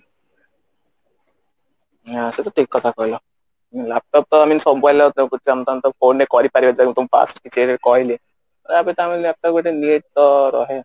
ହୁଁ ସବୁ ଠିକ କଥା କହିଲ laptop ତ I mean ତମେ phone ରେ କରିପାରିବ then ତମେ past ରେ କହିଲ need ତ ରହେ